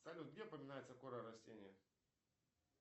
салют где упоминается кора растения